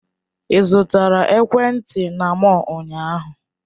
Ị zụtara ekwentị na mọll ụnyaahụ?